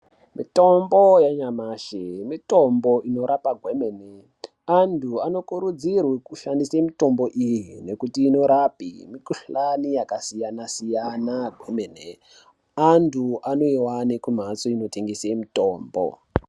Mitombo yenyamashi mitombo inorape kwemene, antu anokurudzirwe kushandise mitombo iyi nekuti inorape mikhuhlani yakasiyanasiyana kwemene antu anoiwana kumhatso inotengese mutombo.